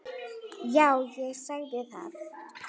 Já, ég sagði það.